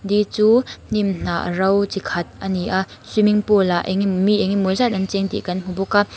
di chu hnim hnah ro chi khat a ni a swimming pool ah engemaw mi engemaw zat an cheng tih kan hmu bawk a.